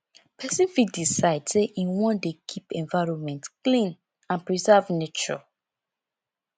persin fit decide say im won de keep environment clean and preserve nature